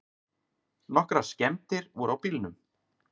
Nokkrar skemmdir voru á bílnum.